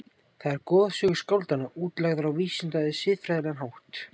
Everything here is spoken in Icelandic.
Þar eru goðsögur skáldanna útlagðar á vísinda- eða siðfræðilegan hátt.